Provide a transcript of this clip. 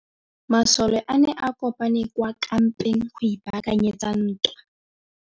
Masole a ne a kopane kwa kampeng go ipaakanyetsa ntwa.